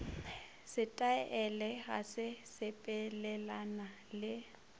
setaele ga se sepelelane le